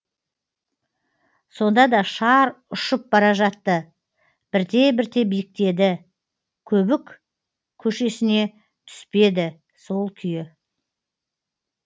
сонда да шар ұшып бара жатты бірте бірте биіктеді көбік көшесіне түспеді сол күйі